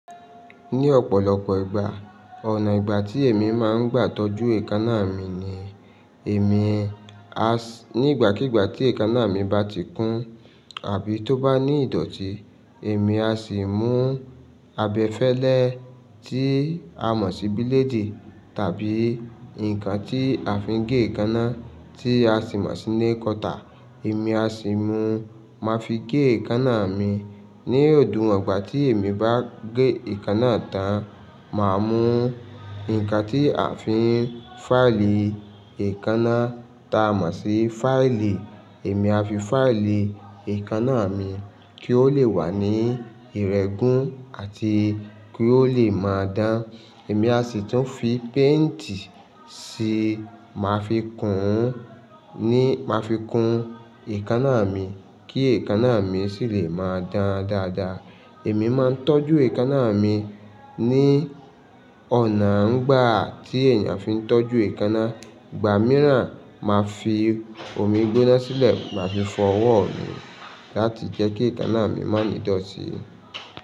Ní ọ̀pọ̀lọpọ̀ ìgbà, ọ̀nà ìgbà tí èmi máa ń gbà tọ́jú èékánná mi ni èmi, As nígbàkígbà tí èékánná mi bá ti kún àbí tó bá ní ìdọ̀tí, èmi a ṣì mú abẹfẹ́lẹ́ tí a mọ̀ sí bílédì tàbí nǹkan tí a fi ń gé èékánná tí a ṣì mọ̀ sí nail cutter, èmi a sì mú, máa fi gé èékánná mi. Ní òdiwọn igbà tí èmi bá gé èékánná tán, màá mú nǹkan tí a fi ń fáìlì èékánná ta mọ̀ sí fáìlì, èmi a fi fáìlì èékánná mi kí ó lè wà ní ìrẹ́gún àti kí ó lè máa dán. Èmi a sì tún fi paintì sì máa fi kùn ún ní, máa fi kùn èékánná mi kí èékánná mi ṣì lè máa dán dáadáa. Èmi máa ń tọ́jú èékánná mi ní ọ̀nà ńgbà tí ènìyàn fi ń tọ́jú èékánná. Ìgbà mìíràn, màá fi omi gbóná sílẹ̀, màá fi fọ́wọ́ mi láti jẹ́ kí èékánná mi má ní ìdọ̀tí.